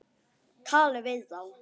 Talið við þá.